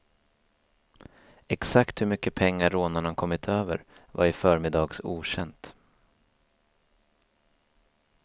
Exakt hur mycket pengar rånarna kommit över var i förmiddags okänt.